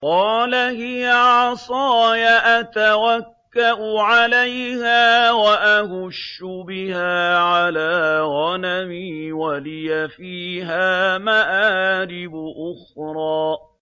قَالَ هِيَ عَصَايَ أَتَوَكَّأُ عَلَيْهَا وَأَهُشُّ بِهَا عَلَىٰ غَنَمِي وَلِيَ فِيهَا مَآرِبُ أُخْرَىٰ